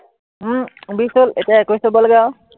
উম বিশ হল, এতিয়া একৈশ হব লাগে আৰু।